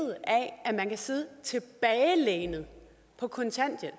af at man kan sidde tilbagelænet på kontanthjælp